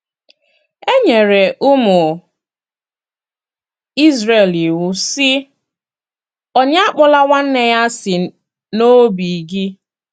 E nyere ụmụ Izrel iwu, sị: “ Onye Akpọla nwanne ya asị n’obi gị. ”